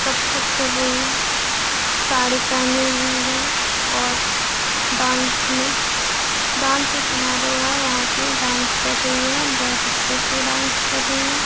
कथक कर रही साड़ी पहने हुई है और डांस में डांसिंग हमारो है वहाँ पे डांस कर रही है बहुत अच्छा से डांस कर रही है।